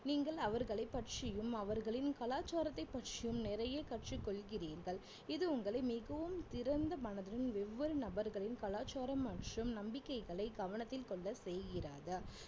நீங்கள் அவர்களைப் பற்றியும் அவர்களின் கலாச்சாரத்தைப் பற்றியும் நிறைய கற்றுக் கொள்கிறீர்கள் இது உங்களை மிகவும் திறந்த மனதின் வெவ்வேறு நபர்களின் கலாச்சாரம் மற்றும் நம்பிக்கைகளை கவனத்தில் கொள்ள செய்கிறது